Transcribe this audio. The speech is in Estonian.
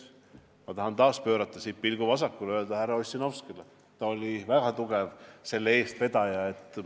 Ma tahan taas pöörata pilgu vasakule ja öelda aitäh härra Ossinovskile, kes oli väga tugev selle teema eestvedaja.